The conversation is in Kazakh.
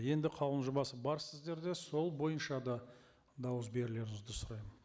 енді қаулының жобасы бар сіздерде сол бойынша да дауыс берулеріңізді сұраймын